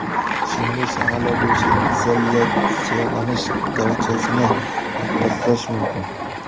Shuningdek, shaharlar bo‘yicha izolyatsiyalanish darajasini taqqoslash mumkin.